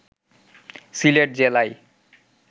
সিলেট জেলায়